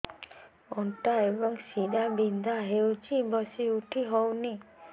ଅଣ୍ଟା ଏବଂ ଶୀରା ବିନ୍ଧା ହେଉଛି ବସି ଉଠି ହଉନି